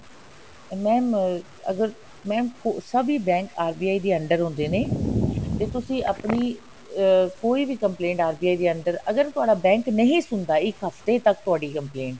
mam ਅਗਰ mam ਸਭੀ bank RBI ਦੇ under ਹੁੰਦੇ ਨੇ ਜੇ ਤੁਸੀ ਆਪਣੀ ਅਹ ਕੋਈ ਵੀ complaint RBI ਦੇ under ਅਗਰ ਤੁਹਾਡਾ bank ਨਹੀਂ ਸੁਣਦਾ ਇੱਕ ਹਫਤੇ ਤੱਕ ਤੁਹਾਡੀ complaint